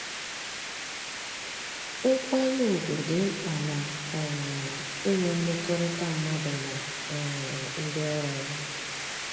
Nkwanye ugwu dị mkpa na um inwe mmekọrịta mmadụ na um ndị ọrụ ya